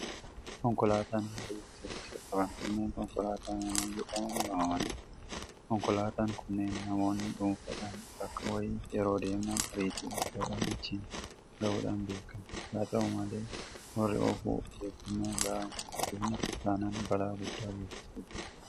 Konkolaataan baay'ee saffisa qaban kanneen konkolaataa manaa jedhamanii waamamanidha. Konkolaataan kunneen namoonni dhuunfaadhaa bakka wayii yeroo deeman ariitii guddaadhaan achiin gahuudhaan beekamti. Haata'u malee warri oofu ofeeggannoo gahaa hin taasifne taanaan balaa guddaa geessisuu danda'u.